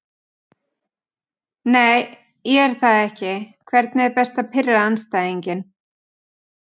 Nei ég er það ekki Hvernig er best að pirra andstæðinginn?